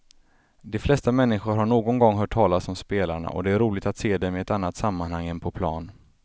De flesta människor har någon gång hört talas om spelarna och det är roligt att se dem i ett annat sammanhang än på plan.